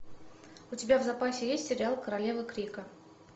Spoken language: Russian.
у тебя в запасе есть сериал королевы крика